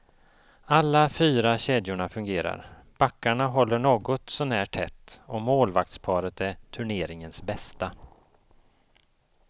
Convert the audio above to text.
Alla fyra kedjorna fungerar, backarna håller något sånär tätt och målvaktsparet är turneringens bästa.